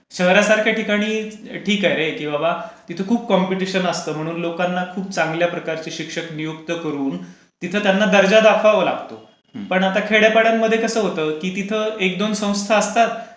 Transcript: शहरसारख्या ठिकाणी ठीक आहे रे की तिथे खूप कंपिटिशन असते. लोकांना खूप चांगल्या प्रकारचे शिक्षक नियुक्त करून तिथे त्यांना दर्जा दाखवावा लागतो. पण आता खेड्या पाड्यांमध्ये कसं होतं. की तिथे एक दोन संस्था असतात.